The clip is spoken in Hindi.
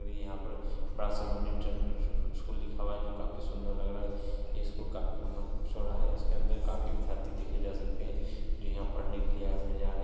और यहां पर बड़ा सा न्यूट्रल ई स--स्कूल दिखा हुआ है जो काफी सुंदर लग रहा है ये स्कूल काफी लंबा चौड़ा है इसके अंदर काफी विद्यार्थी देखे जा सकते हैं जो यहां पढ़ने के लिए आए हुए नजर आ रहे है।